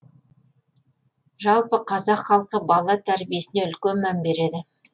жалпы қазақ халқы бала тәрибесіне үлкен мән береді